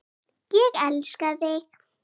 Ég elska þig!